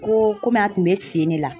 Ko komi a tun bɛ sen ne la.